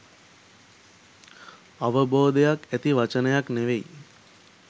අවබෝධයක් ඇති වචනයක් නෙවෙයි.